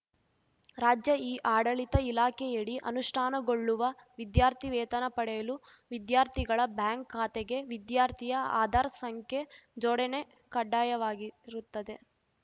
ರಾಜ್ಯ ಇಆಡಳಿತ ಇಲಾಖೆಯಡಿ ಅನುಷ್ಟಾನಗೊಳ್ಳುವ ವಿದ್ಯಾರ್ಥಿ ವೇತನ ಪಡೆಯಲು ವಿದ್ಯಾರ್ಥಿಗಳ ಬ್ಯಾಂಕ್‌ ಖಾತೆಗೆ ವಿದ್ಯಾರ್ಥಿಯ ಆಧಾರ್‌ ಸಂಖ್ಯೆ ಜೋಡಣೆ ಕಡ್ಡಾಯವಾಗಿರುತ್ತದೆ